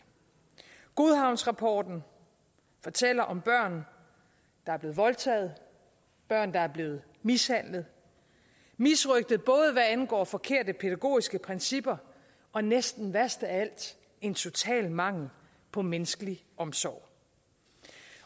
godhavnsrapporten fortæller om børn der er blevet voldtaget børn der er blevet mishandlet og misrøgtet både hvad angår forkerte pædagogiske principper og næsten værst af alt en total mangel på menneskelig omsorg